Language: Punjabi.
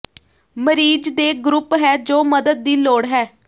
ਮਰੀਜ਼ ਦੇ ਗਰੁੱਪ ਹੈ ਜੋ ਮਦਦ ਦੀ ਲੋੜ ਹੈ